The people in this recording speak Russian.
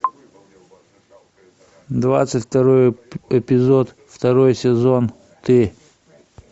двадцать второй эпизод второй сезон ты